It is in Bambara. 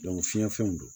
fiɲɛ fɛnw don